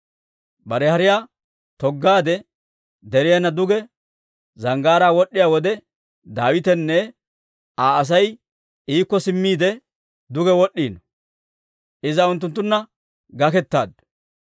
Bare hariyaa toggaadde deriyaana duge zanggaaraa wod'd'iyaa wode, Daawitenne Aa Asay iikko simmiide duge wod'd'iino; iza unttunttunna gakettaaddu.